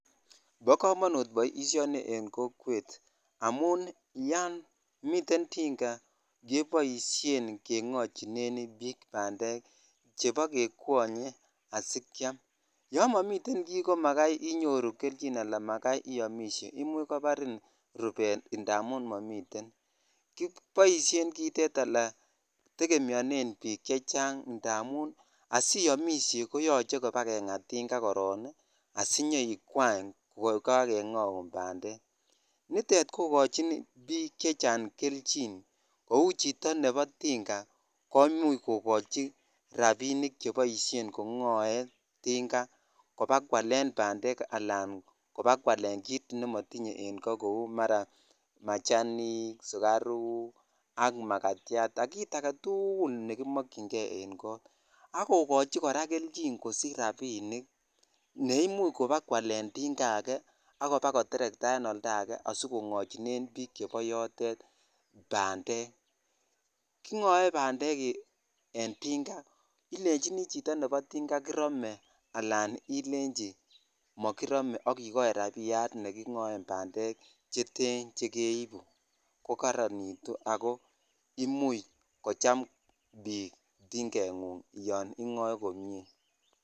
Bo komonut boisioni en kokwet amun yan miten tinga keboisien kengochine bik bandek cheba kekwonye asikyam yon momiten ki komakai iyoru kelyin imuch kobarin rubet i ala makai iyomishe indamun momiten kiboshen kit itet ala tegemeone bik cheng indamun astonish koyoche kengaa tinga koron asiyon ikwany kokakegoun banyek nitet kokochin bik chechang kelvin kou chito nebo tinga komuch kokochi rabinik chekiboishen kegoen tinga kobakwalen bandek alan kobakwalen kit nemotinye en koo kou maraa mechanic ,sugauk ak makatyat ak kit aketukul nekimokyin kei en kot ak kokochi koraa kelvin kosic rabinik neimuc kobakwalen tingaa age ak kobakoteretaa en oldake asikongochinen bik chebo yotet bandek kingoe bandek en tinga ilechini chito kirome alan ilenchi mokirome ak ikochi rabiyat nekigoen bandek cheten chekeibu ko koronit ako imuchh kocham bik tingengung yon ingoe komie.